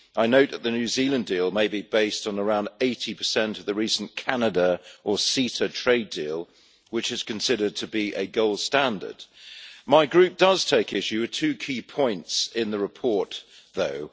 I note that the New Zealand deal may be based on around 80 of the recent Canada or CETA trade deal, which is considered to be a gold standard. My group does take issue with two key points in the report though.